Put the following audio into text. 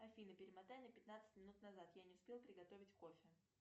афина перемотай на пятнадцать минут назад я не успела приготовить кофе